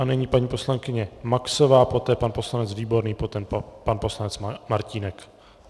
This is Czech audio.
A nyní paní poslankyně Maxová, poté pan poslanec Výborný, poté pan poslanec Martínek.